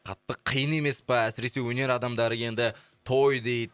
қатты қиын емес па әсіресе өнер адамдары енді той дейді